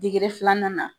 degere filanan nana